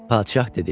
Padşah dedi: